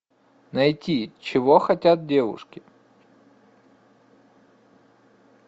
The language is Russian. найти чего хотят девушки